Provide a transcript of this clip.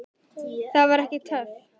Það var ekki töff.